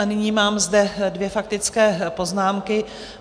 A nyní mám zde dvě faktické poznámky.